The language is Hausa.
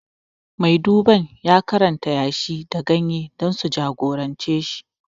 Mai duban ya karanta yashi da ganye dan su jagorance shi